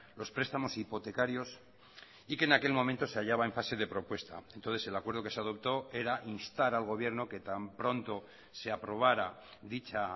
los prestamos hipotecarios y que en aquel momento se hallaba en fase de propuesta entonces el acuerdo que se adoptó era instar al gobierno que tan pronto se aprobara dicha